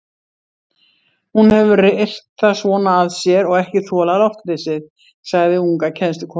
Hún hefur reyrt það svona að sér og ekki þolað loftleysið, sagði unga kennslukonan.